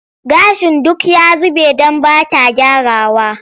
Gashin duk ya zube don ba ta gyrawa.